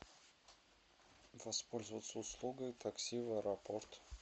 воспользоваться услугой такси в аэропорт